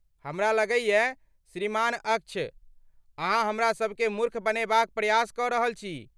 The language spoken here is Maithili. हमरा लगैयै, श्रीमान अक्ष, अहाँ हमरा सबकेँ मूर्ख बनेबाक प्रयास कऽ रहल छी।